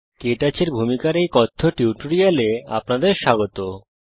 কে touch এর ভূমিকার কথ্য টিউটোরিয়ালে আপনাদের স্বাগত জানাই